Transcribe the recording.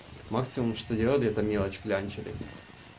максимум что делали это мелочи кляре